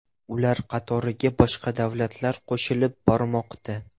Ular qatoriga boshqa davlatlar qo‘shilib bormoqda.